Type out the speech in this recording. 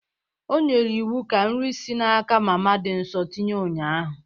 O nyere iwu ka nri si n'aka mama dị nso tinye ụnyahụ.